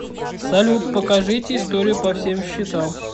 салют покажите истрию по всем счетам